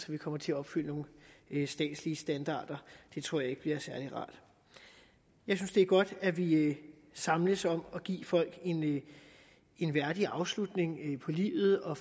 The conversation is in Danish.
vi kommer til at opfylde nogle statslige standarder det tror jeg ikke bliver særlig rart jeg synes det er godt at vi samles om at give folk en værdig afslutning på livet og